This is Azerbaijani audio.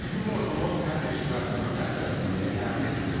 Bizim borcumuz hər bir iştirakçının təhlükəsizliyini təmin etməkdir.